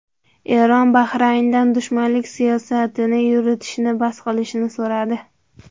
Eron Bahrayndan dushmanlik siyosatini yuritishni bas qilishini so‘radi.